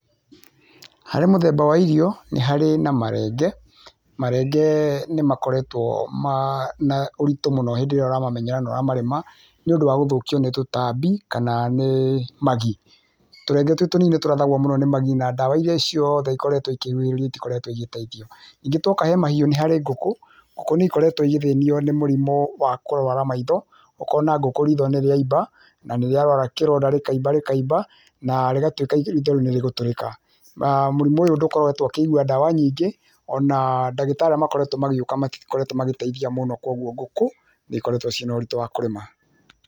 Harĩ mũthemba wa irio nĩ harĩ na marenge, marenge nĩ[uuh] makoretwo na[uuh]ũritũ mũno hĩndĩ ĩrĩa ũramamenyerera na ũramarĩma nĩũndũ wa kũthũkio nĩ tũtambi kana nĩ magii. Tũrenge tũtũ tũnini nĩtũrathagwo mũno nĩ magii na ndawa irĩa ciothe ikoretwe ikĩnyurĩrwo itikoretwe igĩteithio, ningĩ twoka he mahiũ nĩ harĩ ngũkũ, ngũkũ nĩikoretwe ikĩgiwa nĩ mũrimo wa kũrwara maitho, ũkona ngũkũ ritho nĩrĩaimba na nĩriarwara kĩronda rĩkaimba rĩkaimba na rĩgatuĩka rĩũ nĩ rĩgũtũrĩka[uuh]mũrimũ ũyũ ndũkoretwe ũkĩigua ndawa nyingĩ ona[uuhh]ndagĩtarĩ arĩa makoretwo magĩũka matikoretwo magĩteithia mũno kwoguo ngũkũ nĩ ikoretwe cina ũritũ wa kũrĩma.